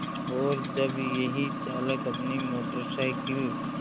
और जब यही चालक अपनी मोटर साइकिल